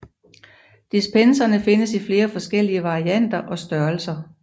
Dispenserne findes i flere forskellige varianter og størrelser